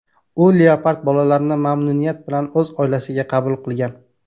U leopard bolalarini mamnuniyat bilan o‘z oilasiga qabul qilgan.